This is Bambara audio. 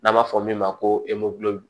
N'an b'a fɔ min ma ko